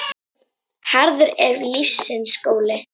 Harður er lífsins skóli.